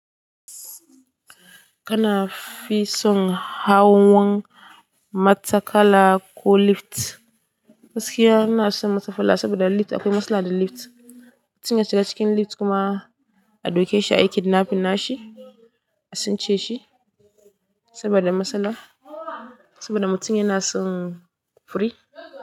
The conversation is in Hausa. Kana fisun hawan matakala ko lift. Gaskiya ina son matakala saboda lift akwai matsala da lift. Mutum ya shiga cikin lift kuma ado keshi aiki da nafinsa, a tsince shi saboda matsala. Saboda mutum yana son furi.